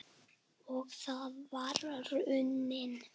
Og það var raunin.